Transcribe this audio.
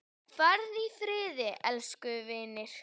Farðu í friði, elsku vinur.